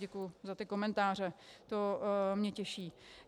Děkuji za ty komentáře, to mě těší.